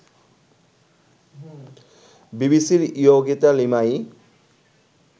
বিবিসির ইয়োগিতা লিমায়ি